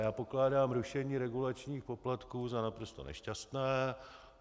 Já pokládám rušení regulačních poplatků za naprosto nešťastné.